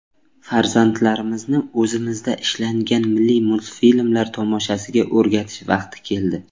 Farzandlarimizni o‘zimizda ishlangan milliy multfilmlar tomoshasiga o‘rgatish vaqti keldi.